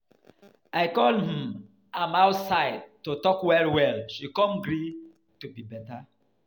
I call um am outside talk to well well, she come agree to be beta.